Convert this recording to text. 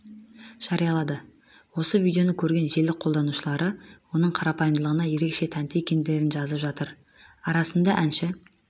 жарияланды осы видеоны көрген желі қолданушылары оның қарапайымдылығына ерекше тәнті екендерін жазып жатыр арасында әнші